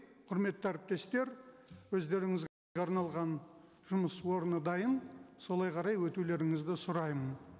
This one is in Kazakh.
құрметті әріптестер арналған жұмыс орны дайын солай қарай өтулеріңізді сұраймын